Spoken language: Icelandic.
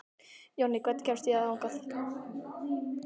Jonni, hvernig kemst ég þangað?